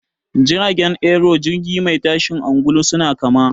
Jirgin Aero da jirgi mai tashin angulu suna kama.